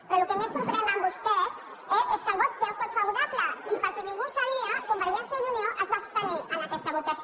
però el que més sorprèn en vostès és que el vot seu fos favorable i per si ningú ho sabia convergència i unió es va abstenir en aquesta votació